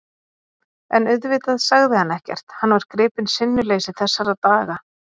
En auðvitað sagði hann ekkert, hann var gripinn sinnuleysi þessara daga.